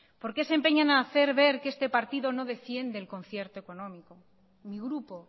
por qué se empeña en hacer ver que este partido no defiende el concierto económico mi grupo